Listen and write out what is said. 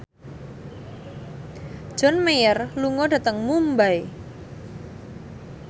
John Mayer lunga dhateng Mumbai